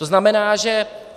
To znamená, že...